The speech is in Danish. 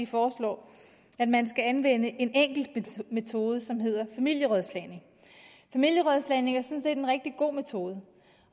foreslår at man skal anvende en enkelt metode som hedder familierådslagning familierådslagning er sådan set en rigtig god metode